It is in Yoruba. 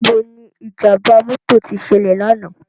Nibó ni ijàmbá mòtó ti sèlè làná?